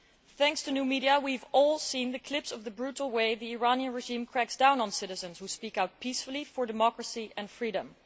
Thanks to new media, we have all seen the clips of the brutal way the Iranian regime cracks down on citizens who speak out peacefully for democracy and freedom.